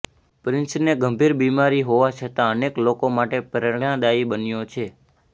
પ્રિન્સને ગંભીર બીમારી હોવા છતાં અનેક લોકો માટે પ્રેરણાદાયી બન્યો છે